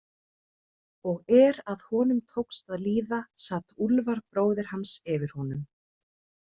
Og er að honum tók að líða sat Úlfar bróðir hans yfir honum.